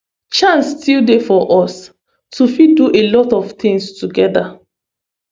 chance still dey for us to fit do a lot of tins togeda